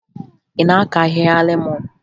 Ị na-akụ ahịhịa lemọn?